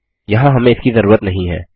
यहाँ हमें इसकी ज़रूरत नहीं है